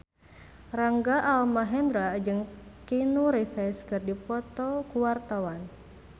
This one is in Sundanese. Rangga Almahendra jeung Keanu Reeves keur dipoto ku wartawan